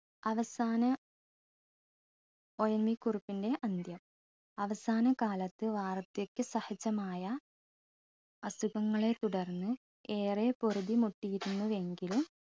അവസാന ONV കുറുപ്പിൻറെ അന്ത്യം അവസാനകാലത്ത് വാർദ്ധക്യ സഹജമായ അസുഖങ്ങളെ തുടർന്ന് ഏറെ പൊറുതിമുട്ടിയിരുന്നുവെങ്കിലും